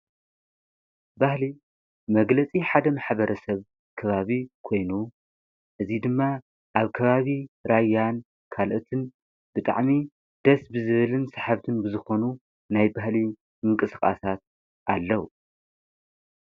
ባህሊ መግለጺ ሓደ ምኅበረ ሰብ ከባቢ ኮይኑ እዙይ ድማ ኣብ ከባቢ ራይያን ካልእትን ብጣዕሚ ደስ ብዝብልን ሰሕብትን ብዝኾኑ ናይ ባህልይ ምንቅስቓሳት ኣለዉ።